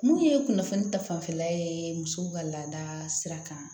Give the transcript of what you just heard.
Mun ye kunnafoni ta fanfɛla ye musow ka laada sira kan